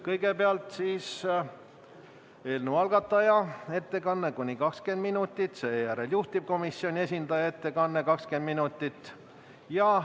Kõigepealt on eelnõu algataja ettekanne, kuni 20 minutit, seejärel juhtivkomisjoni esindaja ettekanne, samuti 20 minutit.